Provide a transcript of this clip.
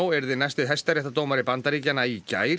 yrði næsti hæstaréttardómari Bandaríkjanna í gær